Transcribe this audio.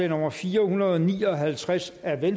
nummer fire hundrede og ni og halvtreds af v